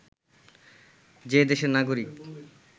যে দেশের নাগরিক